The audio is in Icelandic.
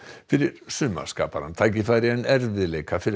fyrir sumar skapar hann tækifæri en erfiðleika fyrir